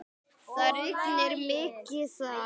Það rignir mikið þar.